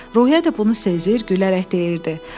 Ruhiyyə də bunu sezir, gülərək deyirdi: